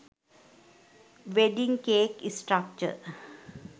wedding cake structure